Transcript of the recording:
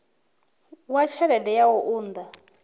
wa tshelede ya u unḓa